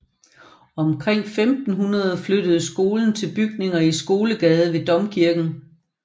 Omkring år 1500 flytter skolen til bygninger i Skolegade ved domkirken